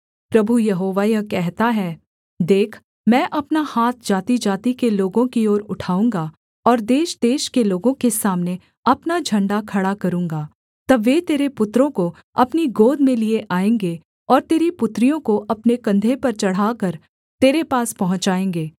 प्रभु यहोवा यह कहता है देख मैं अपना हाथ जातिजाति के लोगों की ओर उठाऊँगा और देशदेश के लोगों के सामने अपना झण्डा खड़ा करूँगा तब वे तेरे पुत्रों को अपनी गोद में लिए आएँगे और तेरी पुत्रियों को अपने कंधे पर चढ़ाकर तेरे पास पहुँचाएगे